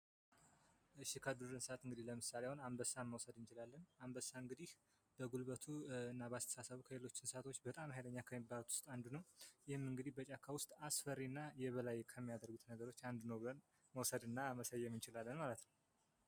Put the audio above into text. ከዱር እንስሳት አንበሳን መውሰድ እንችላለን አንበሳ እንግዲህ በጉልበቱ እና በአስተሳሰብም ከሁሉ እንስሳቶች በጣም ሀይለኛ ከሚባሉት ውስጥ አንዱ ነው። ይህም እንግዲህ በጫካ ውስጥ አስፈሪ እና የበላይ ከሚያደርጉት ነገሮች አንዱ ነው ቦለን መውሰድ እና መሰየም እንችላለን ማለት ነው።